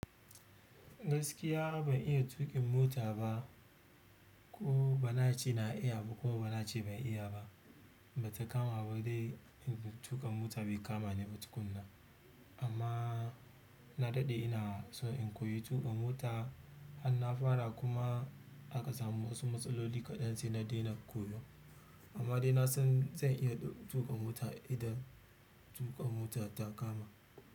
Gaskiya ban iya tuƙin mota ba, ko ba na ce na iya ba ko ba na ce ban iya ba. Ba ta kama ba dai in tuƙa mota bai kama ni ba tukunna. Amma na daɗe ina son in koyi tuƙa mota, har na fara kuma aka samu wasu matsaloli kaɗan sai na daina koyo amma dai na san zan iya tuƙa mota idan tuƙa mota ta kama.